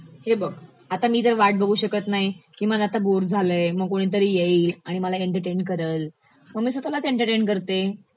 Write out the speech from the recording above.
हे बघ, मी तर वाट भगू शकत नाही, की मला आता बोर झालयं, मग कोणीतरी येईल, मला एंटर्टेन करल, मग मी स्वतःलाच एंटर्टेन करते.